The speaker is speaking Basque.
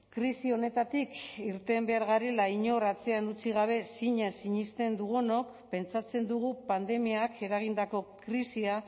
krisi honetatik irten behar garela inor atzean utzi gabe zinez sinesten dugunok pentsatzen dugu pandemiak eragindako krisia